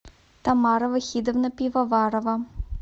тамара вахидовна пивоварова